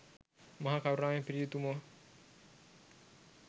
මහා කරුණාවෙන් පිරි උතුමෝ